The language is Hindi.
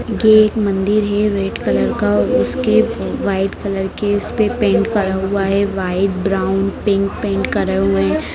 ये एक मंदिर है रेड कलर का और उसके वाइट कलर के उसपे पेंट करा हुआ है वाइट ब्राउन पिंक पेंट करे हुए हैं।